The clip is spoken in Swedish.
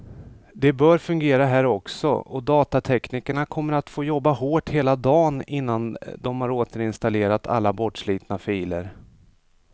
Det bör fungera här också, och datateknikerna kommer att få jobba hårt hela dagen innan de har återinstallerat alla bortslitna filer.